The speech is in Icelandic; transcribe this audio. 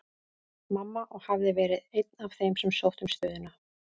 Mamma, og hafði verið einn af þeim sem sóttu um stöðuna.